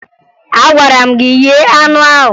Agwara m gị ghee anụ ahụ!